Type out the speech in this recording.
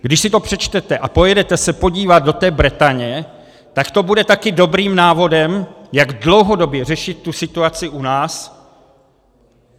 Když si to přečtete a pojedete se podívat do té Bretaně, tak to bude také dobrým návodem, jak dlouhodobě řešit tu situaci u nás.